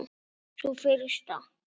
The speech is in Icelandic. Sú fyrsta?